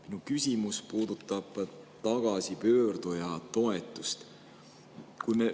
Minu küsimus puudutab tagasipöörduja toetust.